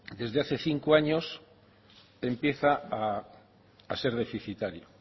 desde hace cinco años empieza a ser deficitario